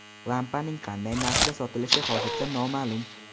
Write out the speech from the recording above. Lampaning qanday narxda sotilishi hozircha noma’lum.